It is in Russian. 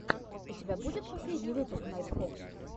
у тебя будет последний выпуск найтфокс